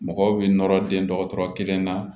Mɔgɔw bɛ nɔrɔ den dɔkɔtɔrɔ kelen na